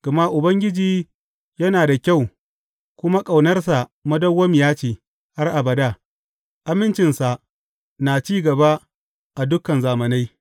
Gama Ubangiji yana da kyau kuma ƙaunarsa madawwamiya ce har abada; amincinsa na cin gaba a dukan zamanai.